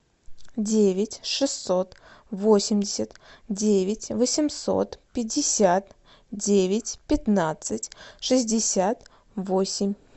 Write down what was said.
девять шестьсот восемьдесят девять восемьсот пятьдесят девять пятнадцать шестьдесят восемь